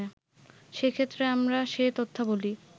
সেক্ষেত্রে আমরা সে তথ্যাবলি